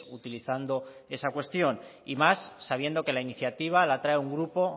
utilizando esa cuestión y más sabiendo que la iniciativa la trae un grupo